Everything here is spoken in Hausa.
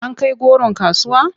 An kai goron kasuwa?